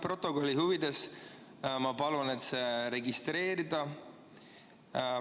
Protokolli huvides ma palun see registreerida.